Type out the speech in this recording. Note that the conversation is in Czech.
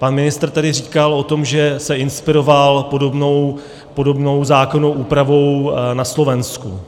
Pan ministr tady říkal o tom, že se inspiroval podobnou zákonnou úpravou na Slovensku.